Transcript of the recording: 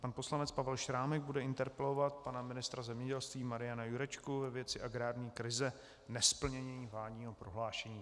Pan poslanec Pavel Šrámek bude interpelovat pana ministra zemědělství Mariana Jurečku ve věci agrární krize nesplněním vládního prohlášení.